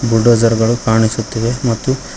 bull dozer ಗಳು ಕಾಣಿಸುತ್ತಿವೆ ಮತ್ತು--